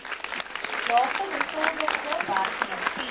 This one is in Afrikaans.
laagste besoldigde werknemers